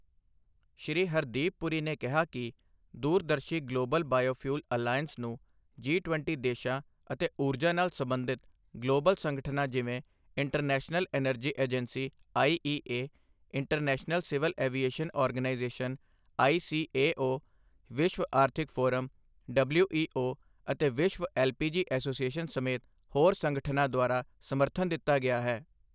ਸ਼੍ਰੀ ਹਰਦੀਪ ਪੁਰੀ ਨੇ ਕਿਹਾ ਕਿ ਦੂਰਦਰਸ਼ੀ ਗਲੋਬਲ ਬਾਇਓਫਿਊਲ ਅਲਾਇੰਸ ਨੂੰ ਜੀ ਟਵੰਟੀ ਦੇਸ਼ਾਂ ਅਤੇ ਊਰਜਾ ਨਾਲ ਸਬੰਧਿਤ ਗਲੋਬਲ ਸੰਗਠਨਾਂ ਜਿਵੇਂ international energy agency IEA, international civil aviation organisation ICAO, ਵਿਸ਼ਵ ਆਰਥਿਕ ਫੋਰਮ ਡਬਲਿਊਈਓ, ਅਤੇ ਵਿਸ਼ਵ ਐੱਲਪੀਜੀ ਐਸੋਸੀਏਸ਼ਨ ਸਮੇਤ ਹੋਰ ਸੰਗਠਨਾਂ ਦੁਆਰਾ ਸਮਰਥਨ ਦਿੱਤਾ ਗਿਆ ਹੈ।